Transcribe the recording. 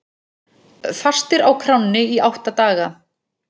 Fastir á kránni í átta daga